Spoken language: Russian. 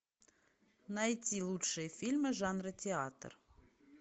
найти лучшие фильмы жанра театр